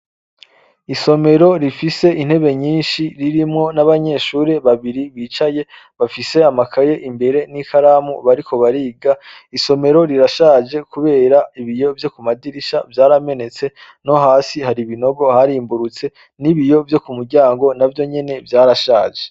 Isomero rifise intebe nyinshi, ririrmwo n'abanyeshure babiri bicaye bafise amakaye imbere n'ikaramu bariko bariga. Isomero rishaje kubera ko ibiyo vyo ku madirisha vyaramemetse, no hasi hari ibinogo harimbururutse, n'ibiyo vyo ku muryango navyo nyene vyarashaje.